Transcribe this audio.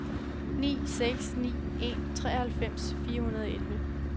ni seks ni en treoghalvfems fire hundrede og elleve